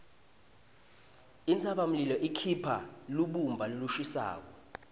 intsabamlilo ikhipha lubumba lolushisako